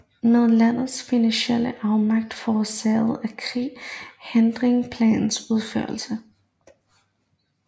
Men landets finansielle afmagt forårsaget af krigen hindrede planens udførelse